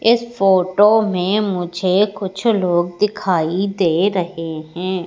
इस फोटो में मुझे कुछ लोग दिखाई दे रहे हैं।